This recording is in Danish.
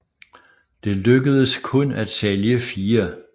Det lykkedes kun at sælge fire